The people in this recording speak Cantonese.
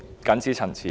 謹此陳辭。